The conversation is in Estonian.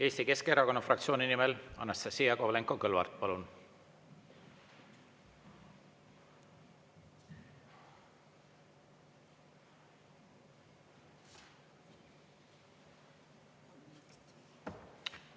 Eesti Keskerakonna fraktsiooni nimel Anastassia Kovalenko-Kõlvart, palun!